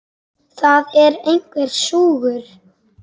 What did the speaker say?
Það er einhver súgur.